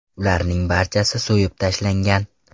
Ularning barchasi so‘yib tashlangan.